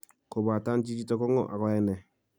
Kobaten chichito ko ng'o ago yoe nee?